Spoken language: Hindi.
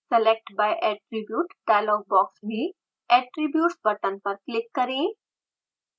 select by attribute dialogue box में attributes बटन पर क्लिक करें